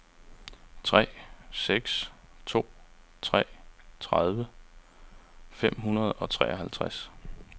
tre seks to tre tredive fem hundrede og treoghalvtreds